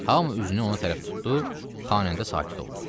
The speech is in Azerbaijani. Hamı üzünü ona tərəf tutdu, xanəndə sakit oldu.